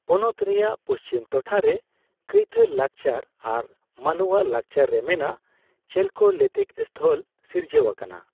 ᱯᱚᱱᱚᱛ ᱨᱮᱭᱟᱜ ᱯᱩᱪᱷᱤᱢ ᱴᱷᱚᱴᱷᱟ ᱨᱮ ᱠᱟᱭᱛᱷᱟ ᱞᱟᱠᱪᱟᱨ ᱟᱨ ᱢᱟᱞᱳᱣᱟ ᱞᱟᱠᱪᱟᱨ ᱨᱮ ᱢᱮᱱᱟᱜ ᱪᱮᱞᱠᱳᱞᱤᱛᱷᱤᱠ ᱥᱛᱷᱚᱞ ᱥᱤᱨᱡᱟᱹᱣ ᱟᱠᱟᱱᱟ ᱾